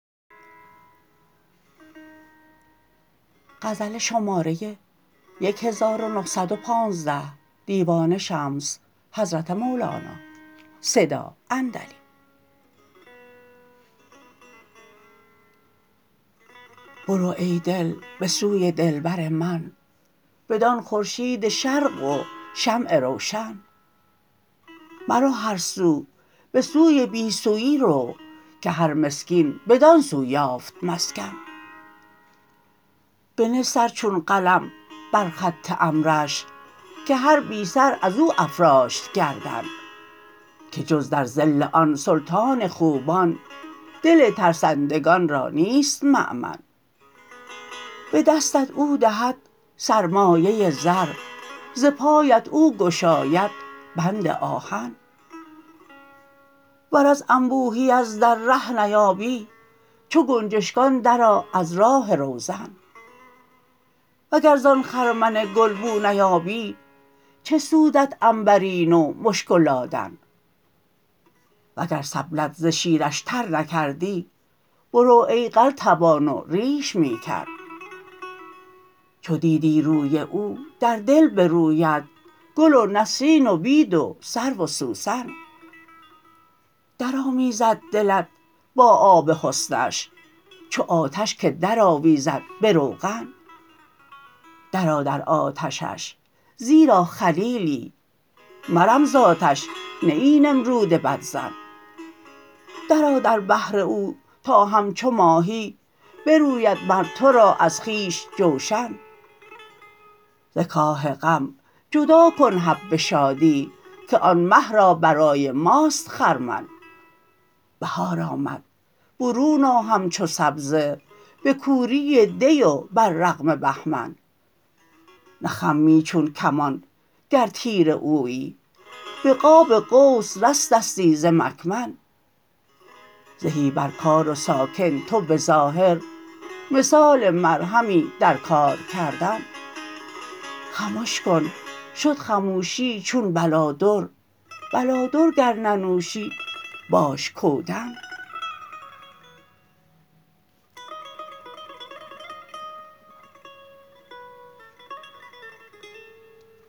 برو ای دل به سوی دلبر من بدان خورشید شرق و شمع روشن مرو هر سو به سوی بی سویی رو که هر مسکین بدان سو یافت مسکن بنه سر چون قلم بر خط امرش که هر بی سر از او افراشت گردن که جز در ظل آن سلطان خوبان دل ترسندگان را نیست مأمن به دستت او دهد سرمایه زر ز پایت او گشاید بند آهن ور از انبوهی از در ره نیابی چو گنجشکان درآ از راه روزن وگر زان خرمن گل بو نیابی چه سود عنبرینه و مشک و لادن وگر سبلت ز شیرش تر نکردی برو ای قلتبان و ریش می کن چو دیدی روی او در دل بروید گل و نسرین و بید و سرو و سوسن درآمیزد دلت با آب حسنش چو آتش که درآویزد به روغن درآ در آتشش زیرا خلیلی مرم ز آتش نه ای نمرود بدظن درآ در بحر او تا همچو ماهی بروید مر تو را از خویش جوشن ز کاه غم جدا کن حب شادی که آن مه را برای ماست خرمن بهار آمد برون آ همچو سبزه به کوری دی و بر رغم بهمن نخمی چون کمان گر تیر اویی به قاب قوس رستستی ز مکمن زهی بر کار و ساکن تو به ظاهر مثال مرهمی در کار کردن خمش کن شد خموشی چون بلادر بلادر گر ننوشی باش کودن